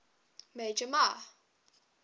major mah